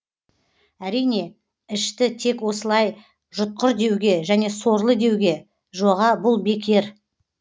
әрине ішті тек осылай жұтқыр деуге және сорлы деуге жоға бұл бекер